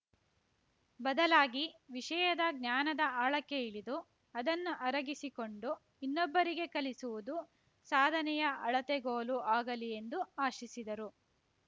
ಬದಲಾಗಿ ವಿಷಯದ ಜ್ಞಾನದ ಆಳಕ್ಕೆ ಇಳಿದು ಅದನ್ನು ಅರಗಿಸಿಕೊಂಡು ಇನ್ನೊಬ್ಬರಿಗೆ ಕಲಿಸುವುದು ಸಾಧನೆಯ ಅಳತೆಗೋಲು ಆಗಲಿ ಎಂದು ಆಶಿಸಿದರು